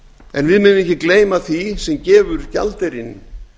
en við megum ekki gleyma því sem gefur gjaldeyrinn